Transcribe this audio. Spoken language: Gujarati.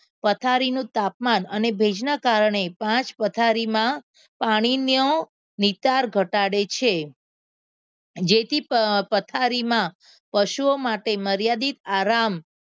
પથારી નું તાપમાન અને ભેજના કારણે પાંચ પથારીમાં પાણીનો નિતાર ઘટાડે છે જેથી પથારીમાં પશુઓ માટે મર્યાદિત આરામ